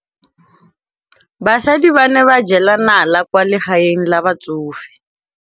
Basadi ba ne ba jela nala kwaa legaeng la batsofe.